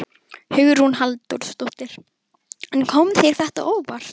Hugrún Halldórsdóttir: En kom þér þetta á óvart?